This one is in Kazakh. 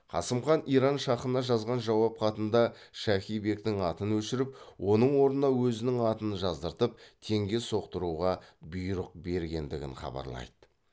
қасым хан иран шахына жазған жауап хатында шахи бектің атын өшіріп оның орнына өзінің атын жаздыртып теңге соқтыруға бұйрық бергендігін хабарлайды